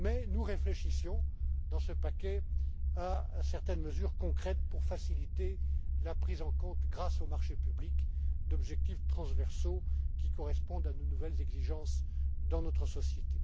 Nous réfléchissons dans ce paquet à certaines mesures concrètes pour faciliter la prise en compte, grâce aux marchés publics, d'objectifs transversaux qui correspondent aux nouvelles exigences de notre